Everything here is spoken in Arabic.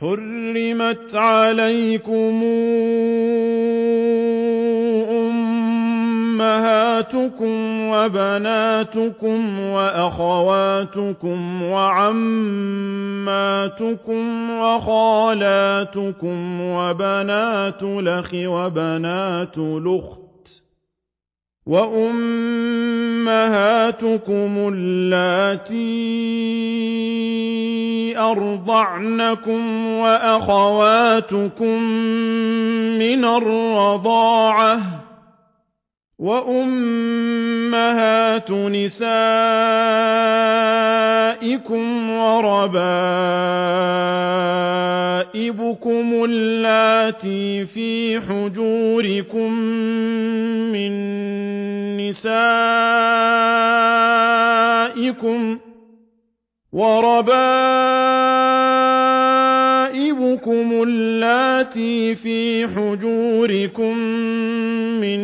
حُرِّمَتْ عَلَيْكُمْ أُمَّهَاتُكُمْ وَبَنَاتُكُمْ وَأَخَوَاتُكُمْ وَعَمَّاتُكُمْ وَخَالَاتُكُمْ وَبَنَاتُ الْأَخِ وَبَنَاتُ الْأُخْتِ وَأُمَّهَاتُكُمُ اللَّاتِي أَرْضَعْنَكُمْ وَأَخَوَاتُكُم مِّنَ الرَّضَاعَةِ وَأُمَّهَاتُ نِسَائِكُمْ وَرَبَائِبُكُمُ اللَّاتِي فِي حُجُورِكُم مِّن